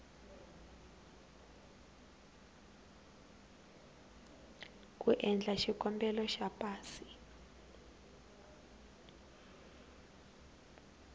ku endla xikombelo xa pasi